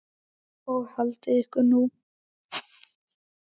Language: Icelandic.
Og haldið ykkur nú.